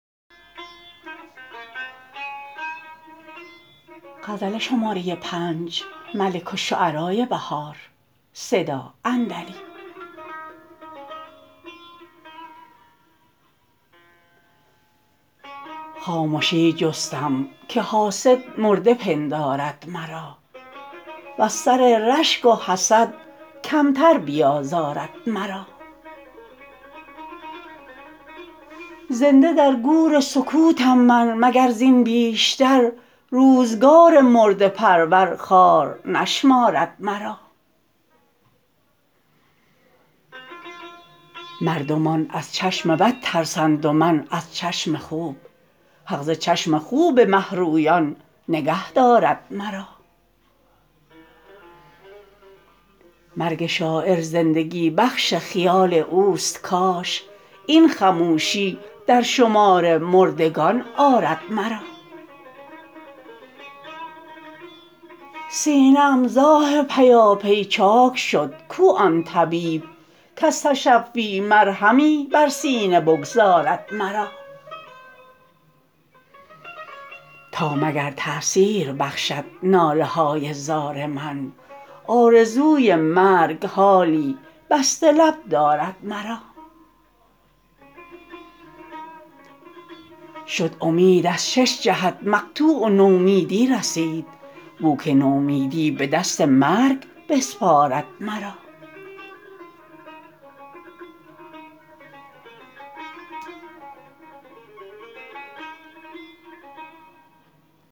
خامشی جستم که حاسد مرده پندارد مرا وز سر رشگ و حسدکمتر بیازارد مرا زنده درگور سکوتم من مگر زین بیشتر روزگار مرده پرور خوار نشمارد مرا مردمان از چشم بد ترسند و من از چشم خوب حق ز چشم خوب مهرویان نگهدارد مرا مرگ شاعر زندگی بخش خیال اوست کاش این خموشی در شمار مردگان آرد مرا سینه ام زآه پیاپی چاک شد کو آن طبیب کز تشفی مرهمی بر سینه بگذارد مرا تا مگر تأثیر بخشد ناله های زار من آرزوی مرگ حالی بسته لب دارد مرا شد امید از شش جهت مقطوع و نومیدی رسید بو که نومیدی به دست مرگ بسپارد مرا